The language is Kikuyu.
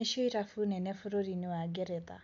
Nĩcio irabu nene bũrũri-inĩ wa Ngeretha".